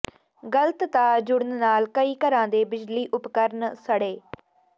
ਗਲਤ ਤਾਰ ਜੁੜਨ ਨਾਲ ਕਈ ਘਰਾਂ ਦੇ ਬਿਜਲੀ ਉਪਕਰਨ ਸੜੇ